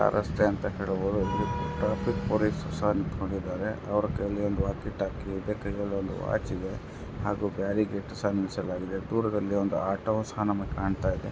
ರಸ್ತೆ ಅಂತ ಹೇಳಬಹುದು ಟ್ರಾಫಿಕ್ ಪೊಲೀಸ್ ಸಹ ನಿಂತಕೊಂಡಿದರೆ ಅವರ ಕೈಯಲ್ಲಿ ಒಂದು ವಾಕಿ ಟೋಕಿ ಇದೆ ಕೈಯಲ್ಲಿ ಒಂದು ವಾಚ್ ಇದೆ ಹಾಗು ಬ್ಯಾರಿಕೇಡ್ ಸಹ ನಿಲ್ಲಿಸಲಾಗಿದೆ ದೂರದಲ್ಲಿ ಒಂದು ಆಟೋ ಸಹ ನಮಗೆ ಕಾಣತ್ತಿದೆ.